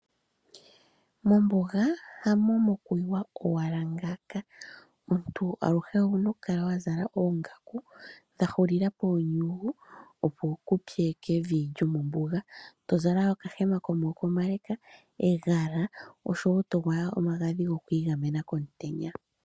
Mombuga hamo mokuyiwa owala ngaaka, omuntu aluhe owuna okukala wa zala oongaku dha hulila poonyugu opo kuupye kevi lyomombuga, to zala okahema komaako omale, egala oshowo to gwaya omagadhi goku igamena komutenya.